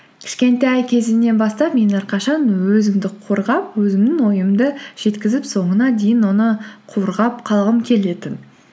кішкентай кезімнен бастап мен әрқашан өзімді қорғап өзімнің ойымды жеткізіп соңына дейін оны қорғап қалғым келетін